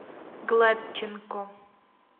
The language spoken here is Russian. гладченко